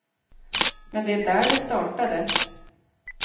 Men det är där det startade.